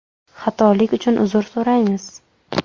Xatolik uchun uzr so‘raymiz.